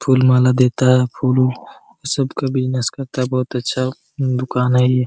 full माला देता है फुल वुल सब का बिजनेस करता है बहुत अच्छा दुकान है ये --